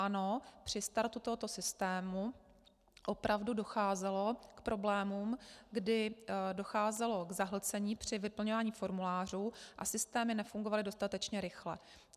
Ano, při startu tohoto systému opravdu docházelo k problémům, kdy docházelo k zahlcení při vyplňování formulářů a systémy nefungovaly dostatečně rychle.